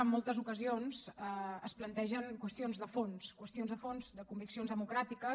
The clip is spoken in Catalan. en moltes ocasions es plantegen qüestions de fons qüestions de fons de conviccions democràtiques